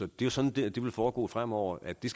det er sådan det det vil foregå fremover at det